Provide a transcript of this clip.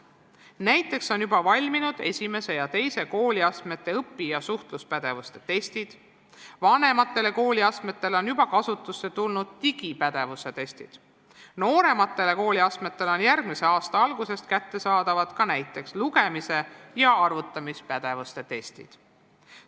Näiteks on juba valminud esimese ja teise kooliastme õpi- ja suhtluspädevuse testid, vanemate kooliastmete puhul on juba kasutusse tulnud digipädevuse testid, noorematele kooliastmetele on järgmise aasta algusest kättesaadavad ka näiteks lugemis- ja arvutamispädevuse testid.